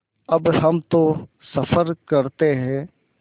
अब हम तो सफ़र करते हैं